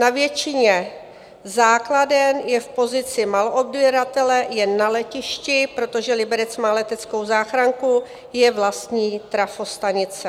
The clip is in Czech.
Na většině základen je v pozici maloodběratele, jen na letišti, protože Liberec má leteckou záchranku, je vlastní trafostanice.